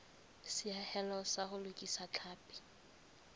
seahelo sa ho lokisa tlhapi